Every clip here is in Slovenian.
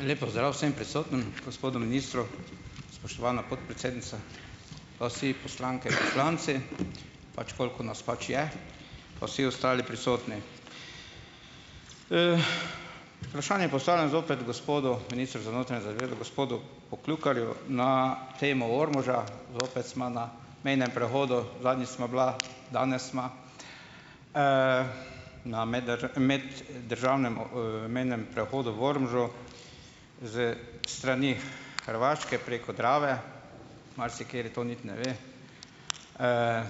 Lep pozdrav vsem prisotnim, gospodu ministru, spoštovana podpredsednica, pa vsi poslanke in poslanci, pač koliko nas pač je, pa vsi ostali prisotni. Vprašanje postavljam zopet gospodu ministru za notranje zadeve, gospodu Pokljukarju na temo Ormoža. Zopet sva na mejnem prehodu, zadnjič sva bila, danes sva. Na meddržavnem o, mejnem prehodu v Ormožu s strani Hrvaške preko Drave - marsikateri to niti ne ve,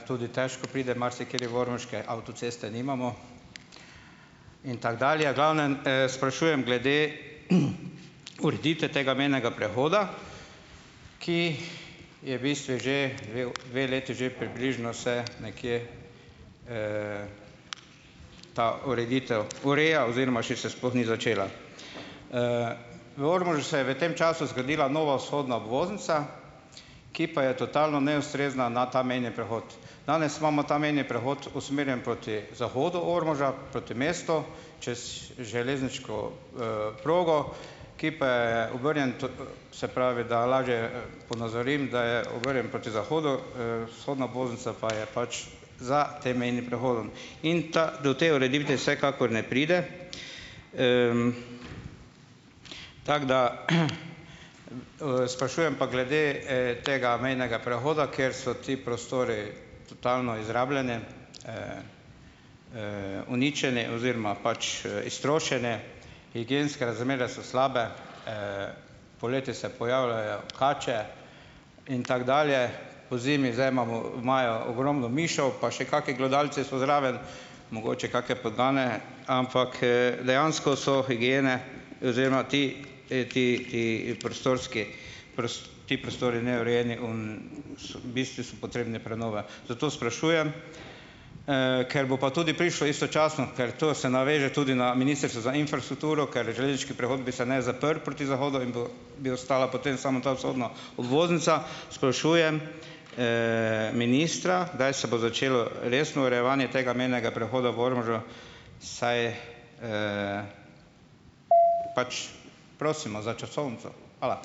tudi težko pride marsikateri v Ormož, kaj avtoceste nimamo in tako dalje. V glavnem, sprašujem glede ureditve tega mejnega prehoda, ki je v bistvu že dve dve leti že približno se nekje, ta ureditev ureja oziroma še se sploh ni začela. V Ormožu se je v tem času zgradila nova vzhodna obvoznica, ki pa je totalno neustrezna na ta mejni prehod. Danes imamo ta mejni prehod usmerjen proti zahodu Ormoža, proti mestu čez železniško, progo, ki pa je obrnjen, to, se pravi, da lažje, ponazorim, da je obrnjen proti zahodu, vzhodna obvoznica pa je pač za tem mejnim prehodom. In ta do te ureditve vsekakor ne pride, tako da, Sprašujem pa glede, tega mejnega prehoda, ker so ti prostori totalno izrabljeni, uničeni oziroma pač, iztrošeni, higienske razmere so slabe, poleti se pojavljajo kače in tako dalje. Pozimi zdaj imamo, imajo ogromno mišev, pa še kaki glodavci so zraven, mogoče kake pogane, ampak, dejansko so higiene oziroma ti, ti, ti prostorski ti prostori neurejeni, oni, so, v bistvu so potrebni prenove. Zato sprašujem, ker bo pa tudi prišlo istočasno, ker to se naveže tudi na Ministrstvo za infrastrukturo, ker železniški prehod bi se naj zaprl proti zahodu in bo bi ostala potem samo ta vzhodna obvoznica - sprašujem, ministra, kdaj se bo začelo resno urejevanje tega mejnega prehoda v Ormožu, saj, Pač ... Prosimo za časovnico. Hvala.